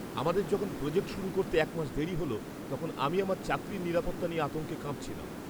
আমাদের যখন প্রোজেক্ট শুরু করতে এক মাস দেরি হল, তখন আমি আমার চাকরির নিরাপত্তা নিয়ে আতঙ্কে কাঁপছিলাম।